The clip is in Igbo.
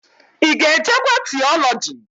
Ị ga-ejekwa tiọlọji?